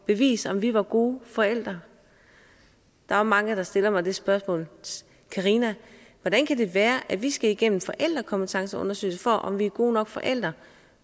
at vise om vi var gode forældre der er mange der stiller mig det spørgsmål karina hvordan kan det være at vi skal igennem en forældrekompetenceundersøgelse af om vi er gode nok forældre